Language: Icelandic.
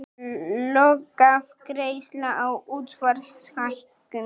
Lokaafgreiðsla á útsvarshækkun